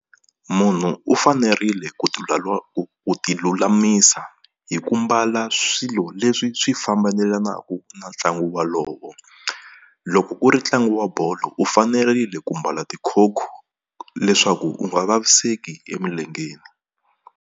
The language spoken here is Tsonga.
Munhu u fanerile ku ti ku ti lulamisa hi ku mbala swilo leswi swi fambelanaku na ntlangu wolowo. Loko ku ri ntlangu wa bolo u fanerile ku mbala tikhokho leswaku u nga vaviseki emilengeni.